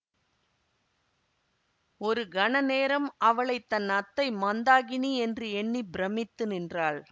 ஒரு கணநேரம் அவளை தன் அத்தை மந்தாகினி என்று எண்ணி பிரமித்து நின்றாள்